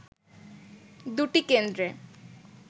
দুটি কেন্দ্রে